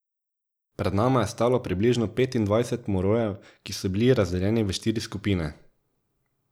Pred nama je stalo približno petindvajset morojev, ki so bili razdeljeni v štiri skupine.